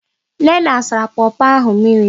Nnenna sara pọpọ ahụ mmiri.